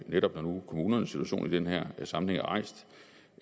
netop kommunernes situation i den her sammenhæng er rejst